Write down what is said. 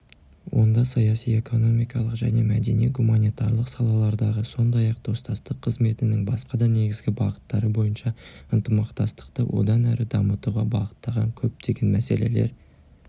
онда саяси экономикалық және мәдени-гуманитарлық салалардағы сондай-ақ достастық қызметінің басқа да негізгі бағыттары бойынша ынтымақтастықты одан әрі дамытуға бағытталған көптеген мәселелер